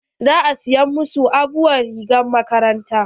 Za a saya ma su aabuwar rigar makaranta.